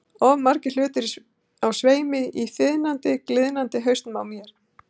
Of margir hlutir á sveimi í þiðnandi, gliðnandi hausnum á mér.